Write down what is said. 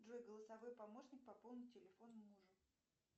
джой голосовой помощник пополни телефон мужу